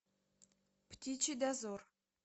птичий дозор